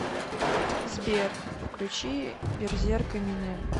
сбер включи берзерк эминем